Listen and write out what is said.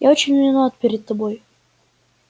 я очень виноват перед тобой